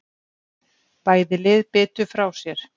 Bæði lið bitu frá sér.